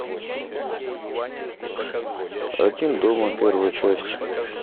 один дома первая часть